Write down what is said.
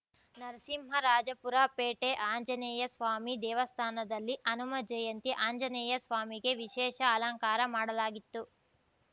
ನರಸಿಂಹರಾಜಪುರ ಪೇಟೆ ಆಂಜನೇಯಸ್ವಾಮಿ ದೇವಸ್ಥಾನದಲ್ಲಿ ಹನುಮ ಜಯಂತಿ ಆಂಜನೇಯಸ್ವಾಮಿಗೆ ವಿಶೇಷ ಅಲಂಕಾರ ಮಾಡಲಾಗಿತ್ತು